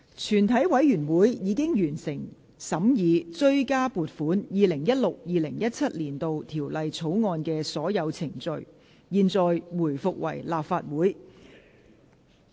全體委員會已完成審議《追加撥款條例草案》的所有程序。現在回復為立法會。